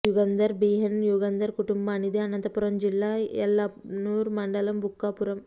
Yugandhar B N Yugandhar కుటుంబానిది అనంతపురం జిల్లా యల్లనూరు మండలం బుక్కాపురం